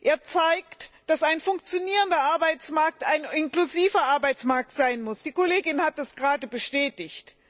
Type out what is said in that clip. Er zeigt, dass ein funktionierender Arbeitsmarkt ein inklusiver Arbeitsmarkt sein muss, die Kollegin hat das gerade bestätigt.